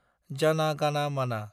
जाना गाना माना